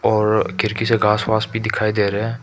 और खिड़की से घास वास भी दिखाई दे रहे हैं।